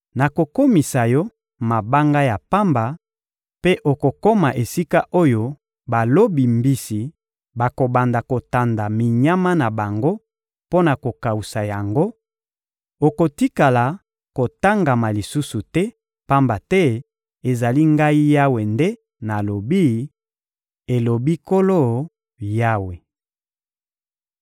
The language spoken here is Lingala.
Nakokomisa yo mabanga ya pamba, mpe okokoma esika oyo balobi mbisi bakobanda kotanda minyama na bango mpo na kokawusa yango; okotikala kotongama lisusu te, pamba te ezali Ngai Yawe nde nalobi, elobi Nkolo Yawe.